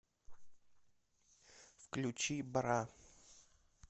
включи бра